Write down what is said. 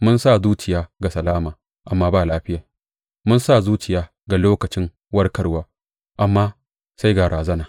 Mun sa zuciya ga salama amma ba lafiya, mun sa zuciya ga lokacin warkarwa amma sai ga razana.